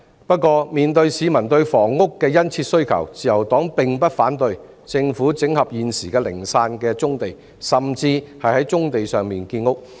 不過，面對市民對房屋的殷切需求，自由黨並不反對政府整合現時零散的棕地，甚至在棕地上建屋。